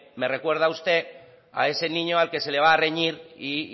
me recuerda usted a ese niño al que se le va a reñir y